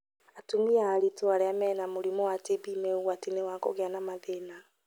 Atumia aritũ arĩa mena mũrimũ wa TB me ũgwati-inĩ wa kũgĩa na mathĩna